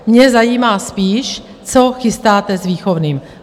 Mě zajímá spíš co chystáte s výchovným.